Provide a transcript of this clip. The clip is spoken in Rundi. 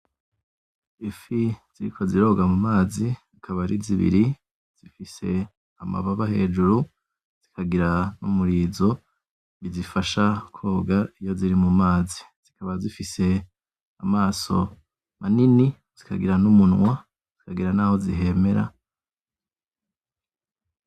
Ifi ziriko ziroga mu mazi, akaba ari zibiri, zifise amababa hejuru; zikagira n'umurizo bizifasha koga iyo ziri mu mazi zikaba zifise amaso manini zikagira n'umunwa; zikagira naho zihemera.